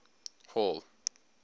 hall